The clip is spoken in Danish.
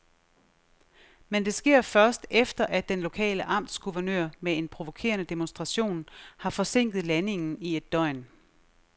Men det sker først, efter at den lokale amtsguvernør med en provokerende demonstration har forsinket landingen i et døgn.